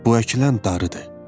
Bu əkilən darıdır.